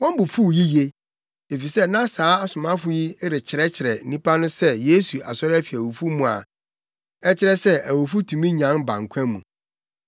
Wɔn bo fuw yiye, efisɛ na saa asomafo yi rekyerɛkyerɛ nnipa no sɛ Yesu asɔre afi owu mu a ɛkyerɛ sɛ awufo tumi nyan ba nkwa mu.